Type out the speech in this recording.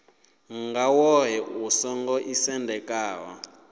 nga woṱhe u songo ḓisendekaho